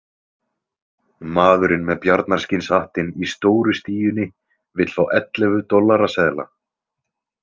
Maðurinn með bjarnarskinnshattinn í stóru stíunni vill fá ellefu dollaraseðla.